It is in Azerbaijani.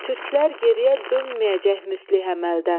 Türklər geriyə dönməyəcək müstəh əməldən.